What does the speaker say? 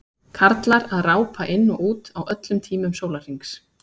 Karlar að rápa inn og út á öllum tímum sólarhrings.